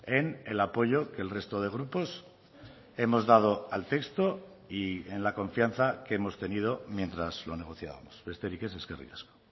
en el apoyo que el resto de grupos hemos dado al texto y en la confianza que hemos tenido mientras lo negociábamos besterik ez eskerrik asko